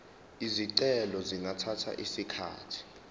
izicelo zingathatha isikhathi